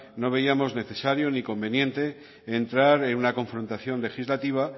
no veíamos necesario ni conveniente entrar en una confrontación legislativa